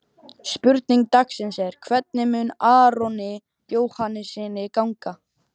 Spurning dagsins er: Hvernig mun Aroni Jóhannssyni ganga?